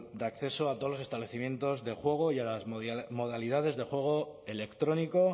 de acceso a todos los establecimientos de juego y a las modalidades de juego electrónico